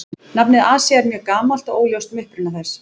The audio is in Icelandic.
Nafnið Asía er mjög gamalt og óljóst um uppruna þess.